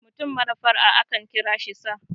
mutum mara fara' a akan kira shi sa